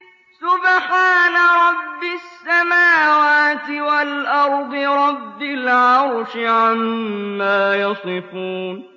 سُبْحَانَ رَبِّ السَّمَاوَاتِ وَالْأَرْضِ رَبِّ الْعَرْشِ عَمَّا يَصِفُونَ